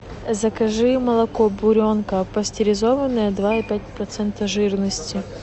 закажи молоко буренка пастеризованное два и пять процента жирности